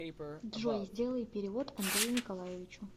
джой сделай перевод андрею николаевичу